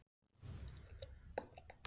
Gauthildur, hvað er á innkaupalistanum mínum?